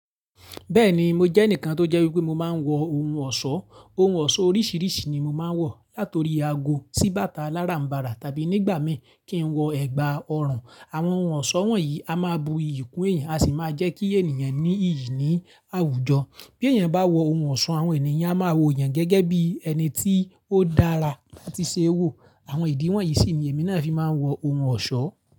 Bẹ́ẹ̀ni mo jẹ́ ẹnìkan tó jẹ́ wípé mo máa ń wọ ohun ọ̀ṣọ́, ohun ọ̀ṣọ́ oríṣiríṣi ni mo máa ń wọ, látọ̀rí aago sí bàtà aláràǹbarà tàbí nígbà mìn kí n wọ ẹ̀gbà ọrùn. Àwọn ohun ọ̀ṣọ́ wọ̀nyí a máa bu iyì kún èèyàn, a sì máa jẹ́ kí èèyàn ní iyì ní àwùjọ. Bí èèyàn bá wọ ohun ọ̀ṣọ́, àwọn èèyàn a máa wo èèyàn gẹ́gẹ́ bí ẹni tí ó dára tii ṣe wo. Àwọn ìdí wọ̀nyí sì ni èmi náà fi máa ń wọ ohun ọ̀ṣọ́.